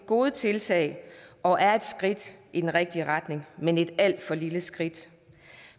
gode tiltag og er et skridt i den rigtige retning men det er et alt for lille skridt